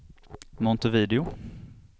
Montevideo